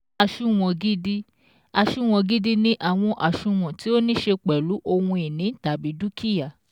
Àsunwon gidi: Àsunwon gidi ni àwọn àsunwon tí ó ní ṣe pẹ̀lú ohun ìní / dúkìá